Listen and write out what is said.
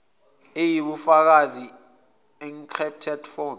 eyibufakazi encrypted form